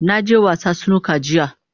Na je wasa Snooker jiya.